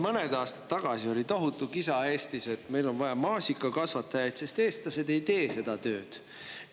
Mõned aastad tagasi oli Eestis tohutu kisa, et meil on vaja maasikakasvatajaid, sest eestlased ei tee seda tööd.